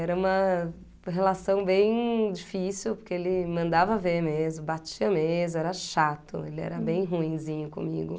Era uma relação bem difícil, porque ele mandava a ver mesmo, batia mesmo, era chato, ele era bem ruinzinho comigo.